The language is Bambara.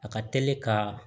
A ka teli ka